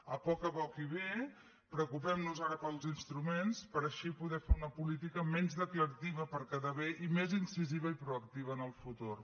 a poc a poc i bé preocupem nos ara pels instruments per així poder fer una política menys declarativa per quedar bé i més incisiva i proactiva en el futur